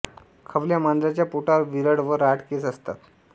खवल्या मांजराच्या पोटावर विरळ व राठ केस असतात